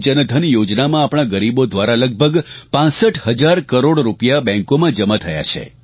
પ્રધાનમંત્રી જનધન યોજનામાં આપણાં ગરીબો દ્વારા લગભગ 65 હજાર કરોડ રૂપિયા બેંકોંમાં જમા થયા છે